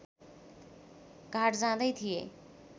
घाट जाँदै थिए